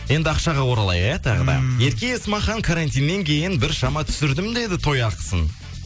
енді ақшаға оралайық иә тағы да ммм ерке есмахан карантиннен кейін біршама түсірдім деді той ақысын